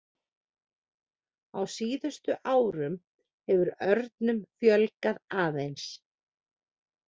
Á síðustu árum hefur örnum fjölgað aðeins.